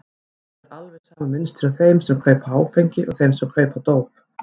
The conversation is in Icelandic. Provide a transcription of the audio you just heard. Það er alveg sama mynstur hjá þeim sem kaupa áfengi og þeim sem kaupa dóp.